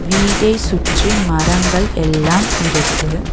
வீட்டை சுற்றி மரங்கள் எல்லாம் இருக்கு.